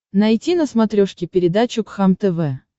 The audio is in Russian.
найти на смотрешке передачу кхлм тв